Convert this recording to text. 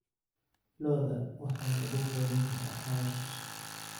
Lo'da waxaa lagu quudin karaa caws.